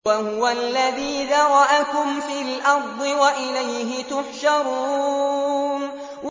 وَهُوَ الَّذِي ذَرَأَكُمْ فِي الْأَرْضِ وَإِلَيْهِ تُحْشَرُونَ